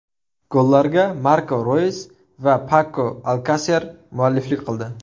Gollarga Marko Roys va Pako Alkaser mualliflik qildi.